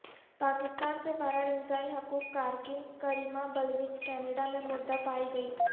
پاکستان سے فرار انسانی حقوق کارکن کریمہ بلوچ کینیڈا میں مردہ پائی گئی